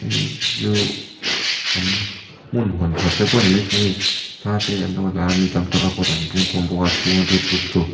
heichu an hmun hawn thar te pawh ni maithei a hei thla te an lo la a mi tam tak a kawtah an pung khawm bawk a chhunga lut tum tu --